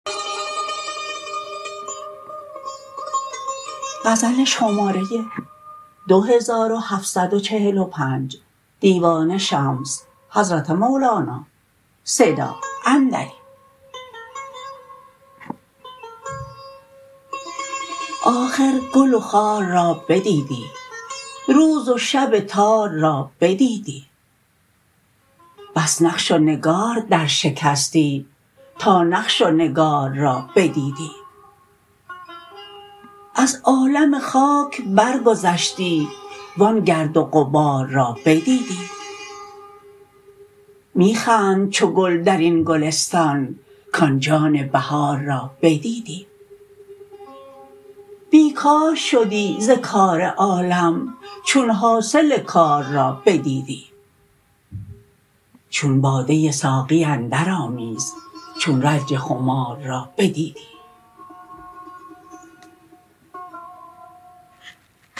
آخر گل و خار را بدیدی روز و شب تار را بدیدی بس نقش و نگار درشکستی تا نقش و نگار را بدیدی از عالم خاک برگذشتی و آن گرد و غبار را بدیدی می خند چو گل در این گلستان کان جان بهار را بدیدی بی کار شدی ز کار عالم چون حاصل کار را بدیدی چون باده ساقی اندرآمیز چون رنج خمار را بدیدی